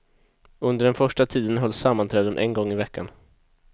Under den första tiden hölls sammanträden en gång i veckan.